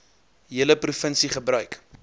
hele provinsie gebruik